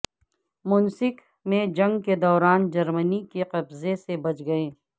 Minsk میں جنگ کے دوران جرمنی کے قبضے سے بچ گئے